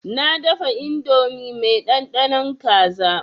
Na dafa indomi mai ɗanɗanon kaza.